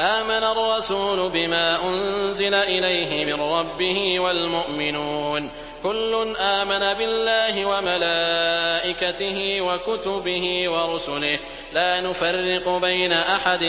آمَنَ الرَّسُولُ بِمَا أُنزِلَ إِلَيْهِ مِن رَّبِّهِ وَالْمُؤْمِنُونَ ۚ كُلٌّ آمَنَ بِاللَّهِ وَمَلَائِكَتِهِ وَكُتُبِهِ وَرُسُلِهِ لَا نُفَرِّقُ بَيْنَ أَحَدٍ